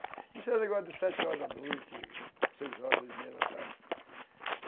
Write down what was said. Isso era negócio de sete horas da noite, seis horas, seis e meia da tarde.